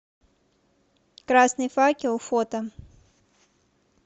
красный факел фото